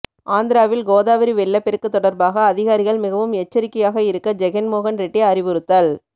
ஆந்திராவில் கோதாவரி வெள்ளப்பெருக்கு தொடர்பாக அதிகாரிகள் மிகவும் எச்சரிக்கையாக இருக்க ஜெகன் மோகன் ரெட்டி அறிவுறுத்தல்